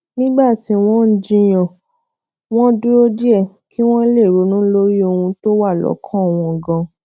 nígbà tí wón ń jiyàn wón dúró díè kí wón lè ronú lórí ohun tó wà lókàn wọn ganan